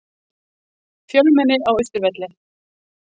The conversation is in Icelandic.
Fjölmenni á Austurvelli